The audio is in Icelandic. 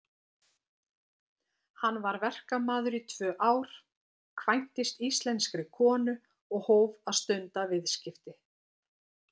Hann var verkamaður í tvö ár, kvæntist íslenskri konu og hóf að stunda viðskipti.